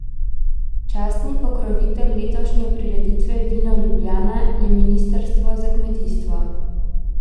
Častni pokrovitelj letošnje prireditve Vino Ljubljana je ministrstvo za kmetijstvo.